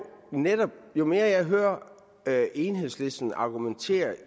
jo mere jeg hører enhedslisten argumentere